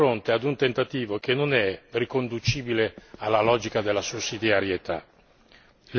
E siamo di fronte a un tentativo che non è riconducibile alla logica della sussidiarietà.